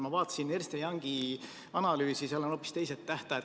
Ma vaatasin Ernst & Youngi analüüsi, seal on hoopis teised tähtajad.